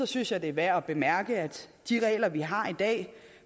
synes jeg det er værd at bemærke at de regler vi har i dag